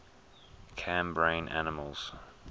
cambrian animals